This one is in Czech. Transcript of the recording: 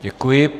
Děkuji.